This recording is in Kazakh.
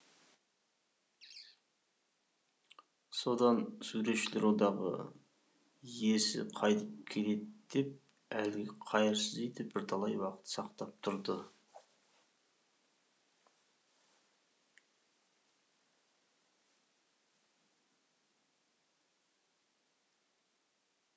содан суретшілер одағы иесі қайтып келеді деп әлгі қайырсыз үйді бірталай уақыт сақтап тұр